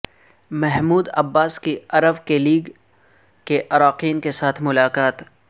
Mahmood Abbas کی عرب League کے اراکین کے ساتھ ملاقات